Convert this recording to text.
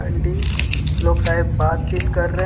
लोग शायद बातचीत कर रहे हैं।